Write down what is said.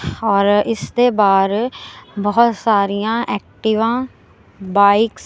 ਔਰ ਇਸ ਦੇ ਬਾਹਰ ਬਹੁਤ ਸਾਰੀਆਂ ਐਕਟੀਵਾਂ ਬਾਈਕਸ --